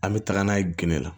An bɛ taga n'a ye gende la